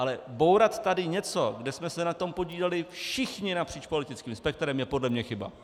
Ale bourat tady něco, kde jsme se na tom podíleli všichni napříč politickým spektrem, je podle mě chyba.